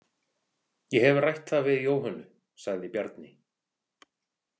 Ég hef rætt það við Jóhönnu, sagði Bjarni.